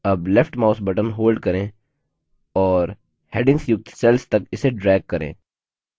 अब left mouse button hold करें और headings युक्त cells तक इसे drag करें